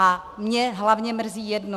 A mě hlavně mrzí jedno.